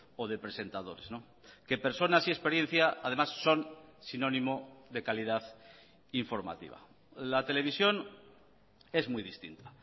o de presentadores que personas y experiencia además son sinónimo de calidad informativa la televisión es muy distinta